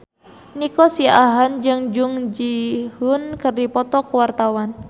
Nico Siahaan jeung Jung Ji Hoon keur dipoto ku wartawan